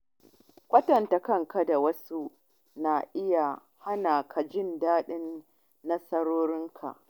Kwatanta kanka da wasu na iya hana ka jin daɗin nasarorin ka.